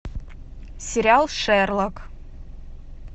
сериал шерлок